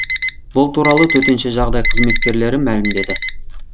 бұл туралы төтенше жағдай қызметкерлері мәлімдеді